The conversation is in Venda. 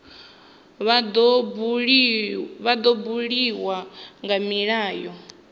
vha dzo buliwa kha milayo